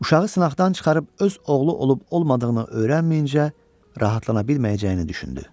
Uşağı sınaqdan çıxarıb öz oğlu olub olmadığını öyrənməyincə rahatlana bilməyəcəyini düşündü.